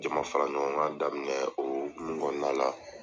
Jama fara ɲɔgɔn kan daminɛ .O hokumu kɔnɔna la